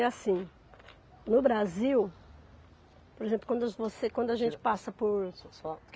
E assim, no Brasil, por exemplo, quando você, quando a gente passa por So, só